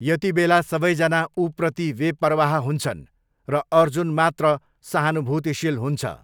यतिबेला सबैजना ऊप्रति बेपरवाह हुन्छन्, र अर्जुन मात्र सहानुभूतिशील हुन्छ।